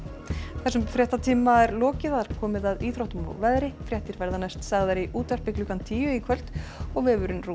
þessum fréttatíma er lokið og komið að íþróttum og veðri fréttir verða næst sagðar í útvarpi klukkan tíu í kvöld og vefurinn